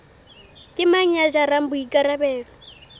ke mang ya jarang boikarabelo